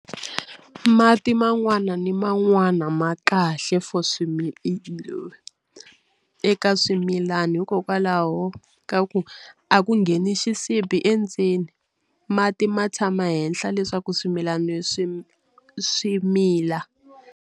Mati man'wana ni man'wana ma kahle for swilo eka swimilani hikokwalaho ka ku a ku ngheni xisibi endzeni mati ma tshama henhla leswaku swimilana swi swi mila.